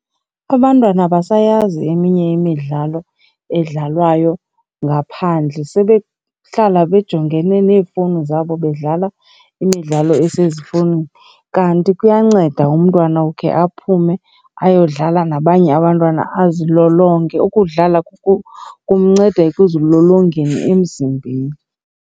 Abantwana abasayazi eminye imidlalo edlalwayo ngaphandle, sebehlala bejongene neefowuni zabo bedlala imidlalo esezifowunini. Kanti kuyanceda umntwana ukhe aphume ayodlala nabanye abantwana azilolonge, ukudlala kumnceda ekuzilolongeni emzimbeni.